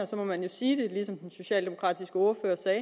så må man sige det ligesom den socialdemokratiske ordfører sagde